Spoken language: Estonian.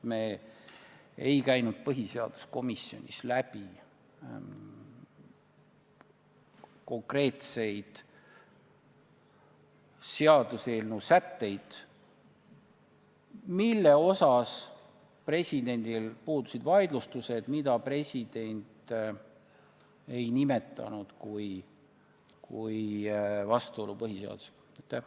Me ei käinud põhiseaduskomisjonis läbi konkreetseid seaduseelnõu sätteid, mille osas presidendil puudusid vaidlustused ja mida president ei nimetanud põhiseadusega vastuolus olevaks.